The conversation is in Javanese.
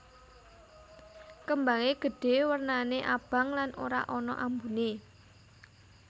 Kembangé gedhé wernané abang lan ora ana ambuné